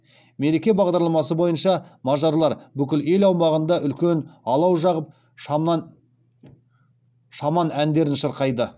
мереке бағдарламасы бойынша мажарлар бүкіл ел аумағында үлкен алау жағып шаман әндерін шырқайды